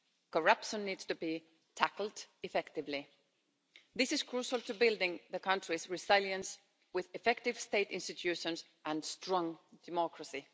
Corruption needs to be tackled effectively. This is crucial to building the country's resilience with effective State institutions and strong democracy.